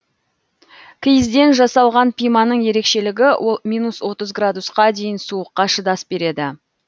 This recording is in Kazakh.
киізден жасалған пиманың ерекшелігі ол минус отыз градусқа дейін суыққа шыдас береді